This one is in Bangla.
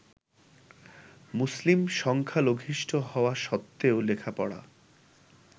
মুসলিম সংখ্যালঘিষ্ঠ হওয়া সত্ত্বেও লেখাপড়া